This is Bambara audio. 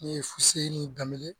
N ye Fuseni Danbele.